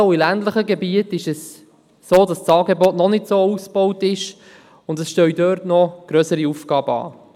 Gerade auch in ländlichen Gebieten ist das Angebot noch nicht sehr ausgebaut, und es stehen dort noch grössere Aufgaben an.